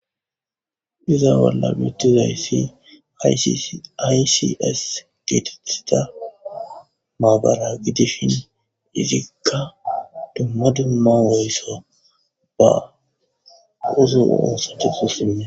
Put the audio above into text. iza bolla bittizayssi aysis geetethida maabara gidisshin izikka dumma dumma woysso ba uzo onsote fusime